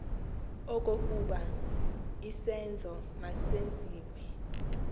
okokuba isenzo masenziwe